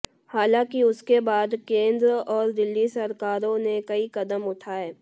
हालांकि उसके बाद केंद्र और दिल्ली सरकारों ने कई कदम उठाए